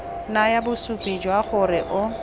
naya bosupi jwa gore o